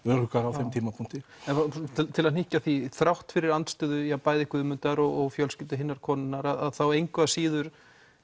öruggara á þeim tímapunkti til að hnykkja á því að þrátt fyrir andstöðu bæði Guðmundar og fjölskyldu hinnar konunnar að þá engu að síður